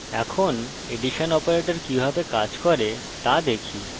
এখন addition operator কিভাবে কাজ করে তা দেখি